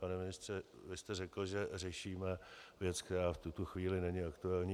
Pane ministře, vy jste řekl, že řešíme věc, která v tuto chvíli není aktuální.